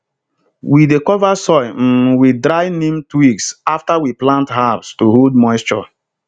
we dey cover soil um with dry neem twigs after we plant herbs to hold moisture